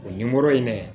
O nimoro ye ne ye